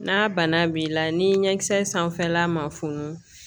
N'a bana b'i la ni ɲɛkisɛ sanfɛla ma funu